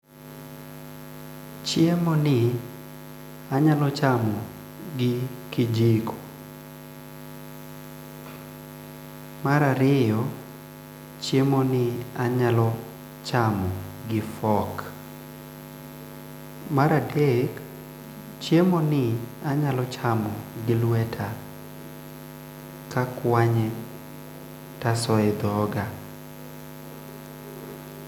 Chiemoni anyalo chamo gi kijiko, mar ariyo chiemo ni anyalo chamo gi fork ,mar adek chiemo ni anyalo chamo gi lweta takwanye taso e dhoga.